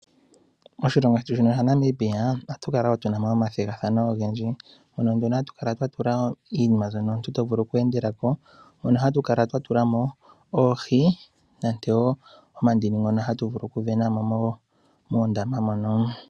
Moshilongo shetu shino shaNamibia ohatu kala wo tuna mo omathigathano ogendji. Hono nduno hatu kala twa tula iinima mbyono omuntu to vulu okwe endela ko. Hono hatu kala twa tula mo oohi nante wo omadini ngono hatu vulu ku ve na mo moondama mono.